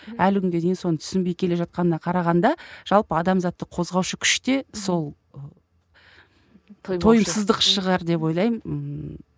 әлі күнге дейін соны түсінбей келе жатқанына қарағанда жалпы адамзатты қозғаушы күш те сол ы тойымсыздық шығар деп ойлаймын ыыы